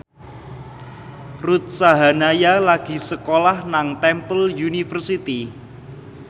Ruth Sahanaya lagi sekolah nang Temple University